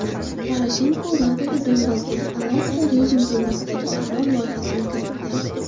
Poroshenko Radaga Donbassdagi alohida rejim to‘g‘risidagi qaror loyihasini kiritdi.